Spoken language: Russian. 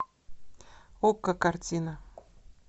окко картина